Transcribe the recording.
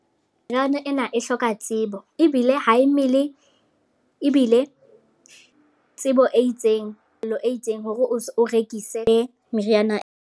Meriana ena e hloka tsebo, ebile ha e mele. Ebile tsebo e itseng lo e itseng hore o rekise meriana.